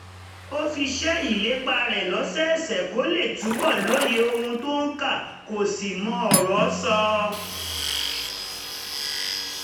ó fi ṣe ìlépa rẹ̀ lọ́sọ̀ọ̀sẹ̀ kó lè túbọ̀ lóye ohun tó ń kà kó sì mọ ọ̀rọ̀ sọ